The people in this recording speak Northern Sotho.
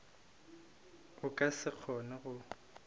o ka se kgone go